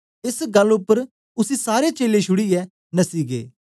एस गल्ल उपर उसी सारे चेलें छुड़ीयै नसी गै